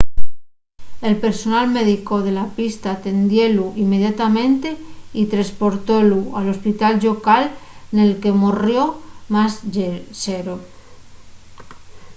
el personal médico de la pista atendiólu inmediatamente y tresportólu al hospital llocal nel que morrió más sero